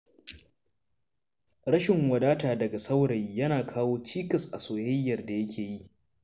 Rashin wadata daga saurayi, yana kawo cikas a soyayyar da yake yi.